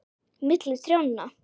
Milli trjánna